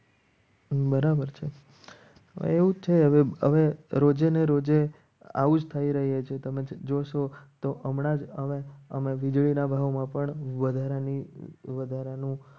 બરાબર છે એવું જ છે હવે રોજે ને રોજે આવું જ થઈ રહ્યા છે. તમે જોશો તો હમણાં જ આવે અમે વીજળીના ભાવમાં પણ વધારાની વધારાનું